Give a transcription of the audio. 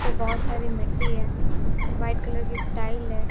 बहोत सारी मिट्टी है वाइट कलर की टाइल्स है।